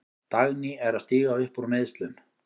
Dagný er að stíga upp úr meiðslum.